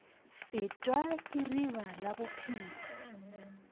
fetwa ke riba la bophelo